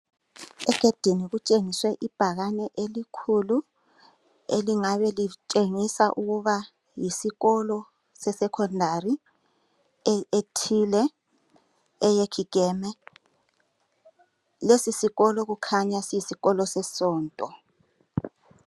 Egedini kutshengiswe ibhakane elikhulu elingabe litshengisa ukuba yisikolo seSecondary ethile eyeKigeme. Lesisikolo kukhanya kuyisikolo sesonto.